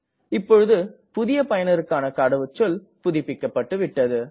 இப்பொழுது புதிய பயனருக்கான கடவுச்சொல் புதுப்பிக்கப்பட்டது